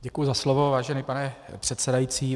Děkuji za slovo, vážený pane předsedající.